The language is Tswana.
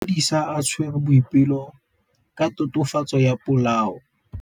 Maphodisa a tshwere Boipelo ka tatofatsô ya polaô.